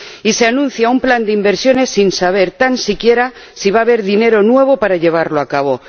Y se anuncia un plan de inversiones sin saber tan siquiera si va a haber dinero nuevo para llevarlo a cabo.